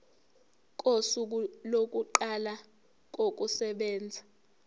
kosuku lokuqala kokusebenza